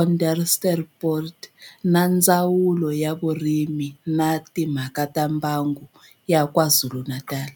Onderstepoort na Ndzawulo ya Vurimi na Timhaka ta Mbango ya KwaZulu-Natal.